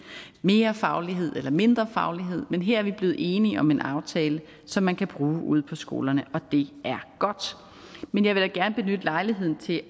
mere faglighed eller mindre faglighed men her er vi blevet enige om en aftale som man kan bruge ude på skolerne og det er godt men jeg vil da gerne benytte lejligheden til